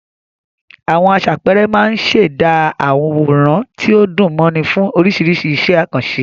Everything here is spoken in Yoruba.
Àwọn aṣàpẹẹrẹ máa ń ṣẹ̀dá àwòrán tí ó dùn mọ́ni fún oríṣiríṣi iṣẹ́ àkànṣe.